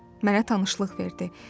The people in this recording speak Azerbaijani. Mənə tanışlıq verdi.